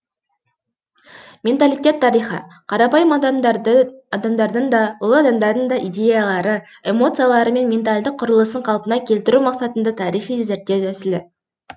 менталиттер тарихы қарапайым адамдардың да ұлы адамдардың да идеялары эмоциялары мен ментальдық құрылысын қалпына келтіру мақсатында тарихи зерттеу тәсілі